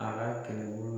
A ka kɛlɛbolo